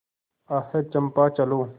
आह चंपा चलो